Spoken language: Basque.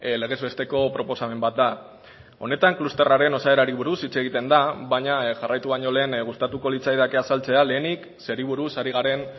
legezbesteko proposamen bat da honetan klusterraren osaerari buruz hitz egiten da baina jarraitu baino lehen gustatuko litzaidake azaltzea lehenik zeri buruz ari garen